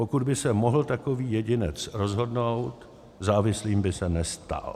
Pokud by se mohl takový jedinec rozhodnout, závislým by se nestal.